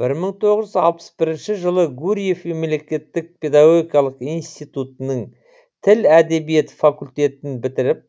бір мың тоғыз жүз алпыс бірінші жылы гурьев мемлекеттік педагогикалық институтының тіл әдебиет факультетін бітіріп